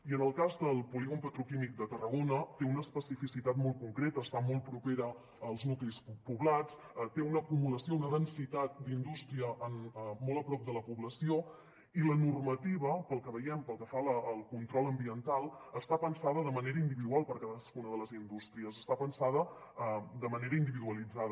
i en el cas del polígon petroquímic de tarragona té una especificitat molt concreta està molt propera als nuclis poblats té una acumulació una densitat d’indústria molt a prop de la població i la normativa pel que veiem pel que fa al control ambiental està pensada de manera individual per a cadascuna de les indústries està pensada de manera individualitzada